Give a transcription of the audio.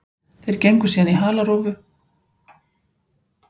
Ég fylgist með honum frá Brasilíu og mér finnst hann vera að standa sig vel.